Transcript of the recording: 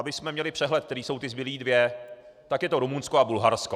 Abychom měli přehled, které jsou ty zbylé dvě, tak je to Rumunsko a Bulharsko.